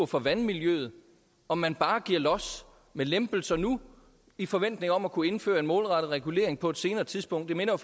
for vandmiljøet om man bare giver los med lempelser nu i forventning om at kunne indføre en målrettet regulering på et senere tidspunkt det minder